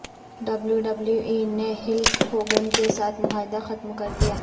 W W E نے Hulk Hogan کے ساتھ معاہدہ ختم کردیا